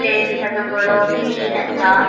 प्लेस असा तो बरो क्लीन असा.